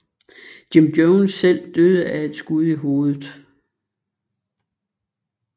Jim Jones selv døde af et skud i hovedet